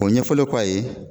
O ɲɛfɔlen kɔ a ye